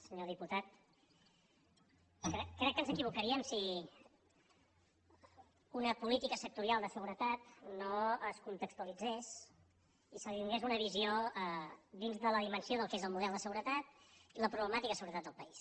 senyor diputat crec que ens equivocaríem si una política sectorial de seguretat no es contextualitzés i se li donés una visió dins de la dimensió del que és el model de seguretat i la problemàtica de seguretat del país